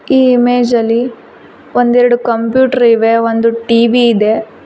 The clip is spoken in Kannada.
ಈ ಇಮೇಜ್ ಅಲ್ಲಿ ಒಂದೆರಡು ಕಂಪ್ಯೂಟರ್ ಇವೆ ಒಂದು ಟಿ_ವಿ ಇದೆ.